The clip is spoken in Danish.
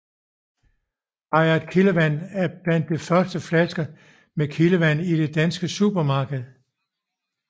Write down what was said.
Hayat Kildevand var blandt de første flasker med kildevand i de danske supermarkeder